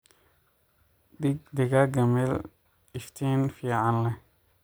Dhig digaaga meel iftiin fiican leh.